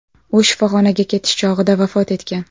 U shifoxonaga ketish chog‘ida vafot etgan.